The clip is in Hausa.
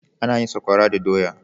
Ana yin tsakwara da doya.